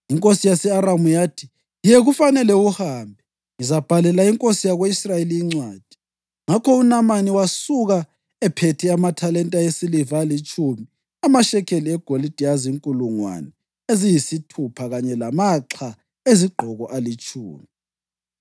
Inkosi yase-Aramu yathi, “Ye kufanele uhambe, ngizabhalela inkosi yako-Israyeli incwadi.” Ngakho uNamani wasuka ephethe amathalenta esiliva alitshumi, amashekeli egolide azinkulungwane eziyisithupha kanye lamaxha ezigqoko alitshumi.